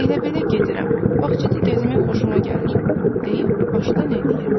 Elə-belə gedirəm, bağçada gəzmək xoşuma gəlir deyib başdan eləyirdi.